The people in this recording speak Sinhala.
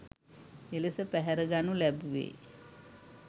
එලෙස පැහැරගනු ලැබුවේ